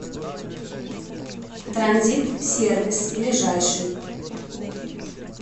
транзит сервис ближайший